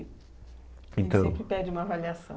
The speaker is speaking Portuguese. Então. A gente sempre pede uma avaliação.